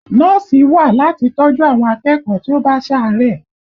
Nọ́ọ̀sì wà láti tọ́ ju àwọn akẹ́kọ̀ọ́ tí ó bá sàárẹ̀